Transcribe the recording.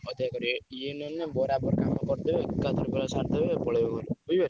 ଇଏ ନହେଲେ ବରାବର କାମ କରିଦେବେ ଏକାଥରେ ପୁରା କରିଦେବେ ଏକା ଥରେ ପୁରା ସାରିଦେବେ ପଳେଇବେ ଘରକୁ ବୁଝିପାରୁଛ।